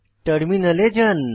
টার্মিনালে যান